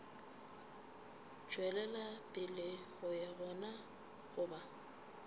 tšwelela pele ga yona goba